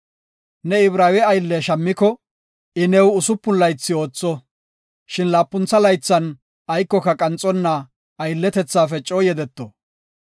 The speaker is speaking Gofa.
“Ne Ibraawe aylle shammiko, I new usupun laythi ootho, shin laapuntha laythan aykoka qanxonna, aylletethaafe coo yedeto.